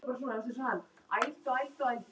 Vantar einhvern á listann?